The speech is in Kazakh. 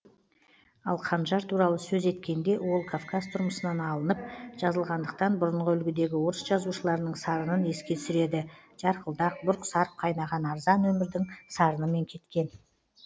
ал қанжар туралы сөз еткенде ол кавказ тұрмысынан апынып жазылғандықтан бұрынғы үлгідегі орыс жазушыларының сарынын еске түсіреді жарқылдақ бұрқ сарқ кайнаған арзан өмірдің сарынымен кеткен